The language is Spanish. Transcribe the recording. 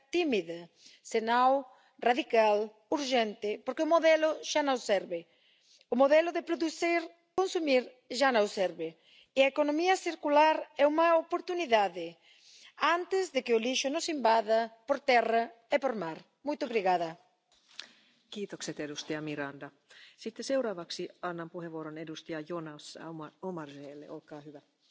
eso felicito a la Comisión porque la estrategia, la Directiva que ya estamos debatiendo, va por el buen camino. Aprovechemos antes de que acabe la legislatura para tomar medidas en esa reducción de plásticos, en esa educación en los hábitos e información a los consumidores y en la innovación y en las nuevas oportunidades para los sectores económicos.